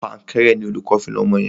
Pankẹ́rẹ́ ni olùkó fi na ọmọ yẹn.